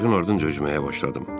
Qayığın ardınca üzməyə başladım.